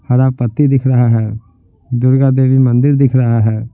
हरा पत्ती दिख रहा है दुर्गा देवी मंदिर दिख रहा है।